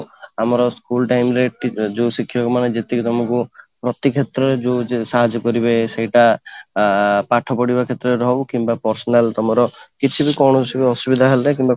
ଆମର school time ରେ ଯୋଉଁ ଶିକ୍ଷକ ମାନେ ଯେତିକି ତମକୁ ପ୍ରତି କ୍ଷେତ୍ର ରେ ଯୋଉ ଯୋଉ ସାହାଯ୍ୟ କରିବେ ସେଇଟା ଆଁ ପାଠ ପଢିବା କ୍ଷେତ୍ର ରେ ହଉ କିମ୍ବା personal ତମର କିଛି କୌଣସି ତମର ଅସୁବିଧା ହେଲେ